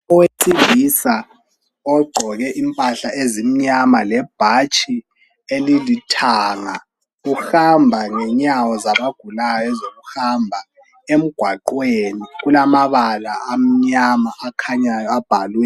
Owesilisa ogqoke impahla ezimyama lebhatshi elilithanga uhamba ngenyawo zabagulayo ezokuhamba emgwaqweni kulamabala amyama akhanyayo abhalwe